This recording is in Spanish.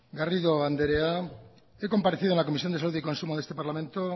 garrido andrea he comparecido en la comisión de salud y consumo de este parlamento